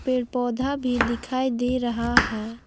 पेड़ पौधा भी दिखाई दे रहा है।